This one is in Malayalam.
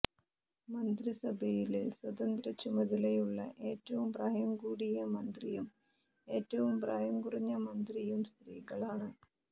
മന്ത്രിസഭയിലെ സ്വതന്ത്ര ചുമതലയുള്ള ഏറ്റവും പ്രായം കൂടിയ മന്ത്രിയും ഏറ്റവും പ്രായം കുറഞ്ഞ മന്ത്രിയും സ്ത്രീകളാണ്